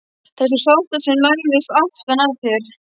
Þessum svarta sem læðist aftan að þér.